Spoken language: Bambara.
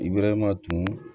I bɛrɛma tunun